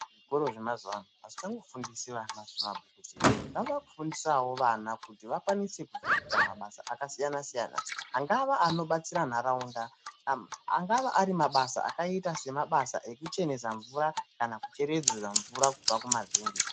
Zvikora zvemazuva ano, azvicha ngofundisi vana zvemabhuku zvega, zvaakufundisawo vana kuti vakwanise kuzoita mabasa akasiyana-siyana, angave anobatsira ntaraunda, angava ari mabasa yakaita semabasa okuchenesa mvura kana kuchereredza mvura kubva mumazenge.